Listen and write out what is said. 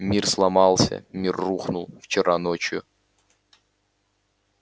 мир сломался мир рухнул вчера ночью